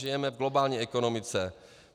Žijeme v globální ekonomice.